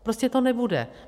Prostě to nebude.